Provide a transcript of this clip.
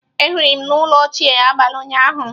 Ehiri m n'elu oche abalị ụnyaahụ.